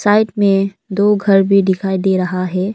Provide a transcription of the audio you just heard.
Side में दो घर भी दिखाई दे रहा है।